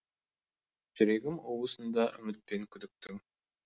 жүрегім уысында үміт пен күдіктің